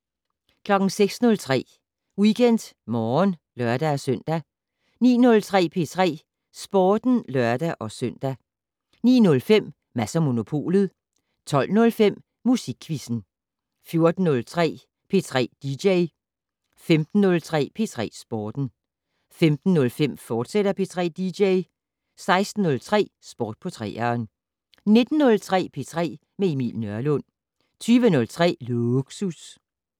06:03: WeekendMorgen (lør-søn) 09:03: P3 Sporten (lør-søn) 09:05: Mads & Monopolet 12:05: Musikquizzen 14:03: P3 dj 15:03: P3 Sporten 15:05: P3 dj, fortsat 16:03: Sport på 3'eren 19:03: P3 med Emil Nørlund 20:03: Lågsus